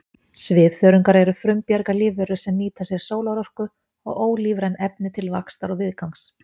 Svifþörungar eru frumbjarga lífverur sem nýta sér sólarorku og ólífræn efni til vaxtar og viðgangs.